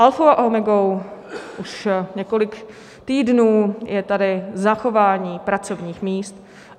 Alfou a omegou už několik týdnů je tady zachování pracovních míst.